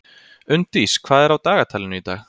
Unndís, hvað er á dagatalinu í dag?